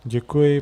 Děkuji.